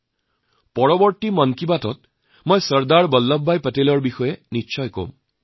ইয়াৰ পাছৰ মন কী বাতত মই অৱশ্যেই চৰ্দাৰ বল্লভভাই পেটেলৰ বিষয়ে কম